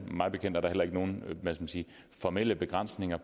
mig bekendt er der heller ikke nogen hvad skal man sige formelle begrænsninger